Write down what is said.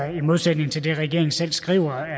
i modsætning til det regeringen selv skriver